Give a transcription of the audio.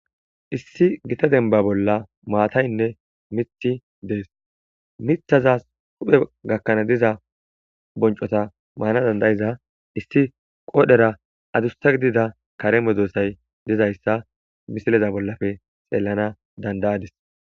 issi gita denba bolla maataynne mithi dees mithazas huphe gakkana diza boncota baana dandayiza issi qoodhera adussa gidida kareme doossay dizayssa misileza bollafe xeellana dandayadis